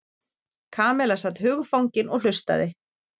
Kamilla sat hugfangin og hlustaði.